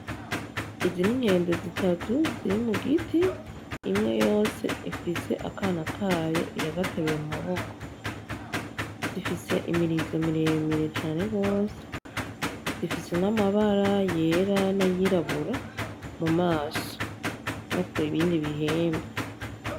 Izi n'inkende zitatu ziri mugiti imwe yose ifise akana kayo iragateruye mu maboko zifise imirizo miremire cane gose zifise n'amabara yera n'ayirabura mumaso no kubindi bihimba.